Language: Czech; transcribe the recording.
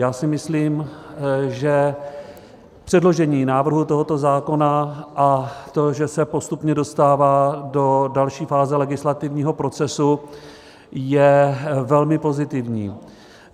Já si myslím, že předložení návrhu tohoto zákona a to, že se postupně dostává do další fáze legislativního procesu, je velmi pozitivní.